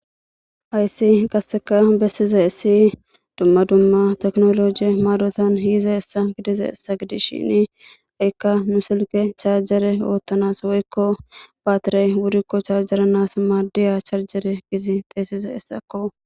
Hayssi bessizaysi dumma dumma tekinolooje maadon yizayssa bessiza hessa gidishin nu silke charje oothanas woyko charjere giidi xeeysizaysako.